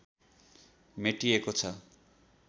मेटिएको छ